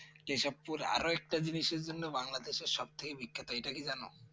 কেশবপুর আর একটা জিন্সের জন্য বাংলাদেশ সব থেকে বিখ্যাত এটা কি জানো